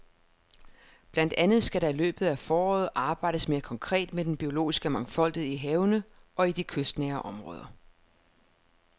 Blandt andet skal der i løbet af foråret arbejdes mere konkret med den biologiske mangfoldighed i havene og i de kystnære områder.